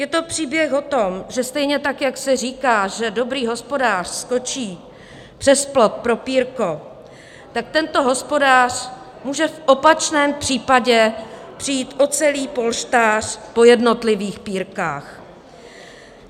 Je to příběh o tom, že stejně tak, jak se říká, že dobrý hospodář skočí přes plot pro pírko, tak tento hospodář může v opačném případě přijít o celý polštář po jednotlivých pírkách.